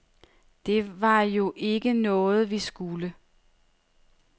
Det var jo ikke noget, vi skulle.